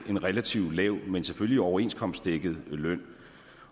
en relativt lav men selvfølgelig overenskomstdækket løn